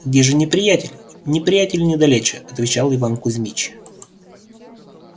где же неприятель неприятель недалече отвечал иван кузмич